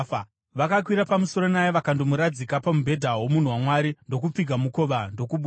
Vakakwira pamusoro naye vakandomuradzika pamubhedha womunhu waMwari, ndokupfiga mukova ndokubuda.